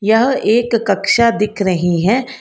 यह एक कक्षा दिख रही है।